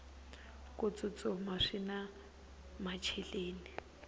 ku tsutsuma swina macheleni